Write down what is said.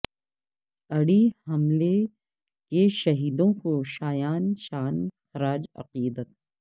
اڑی حملہ کے شہیدوں کو شایان شان خراج عقیدت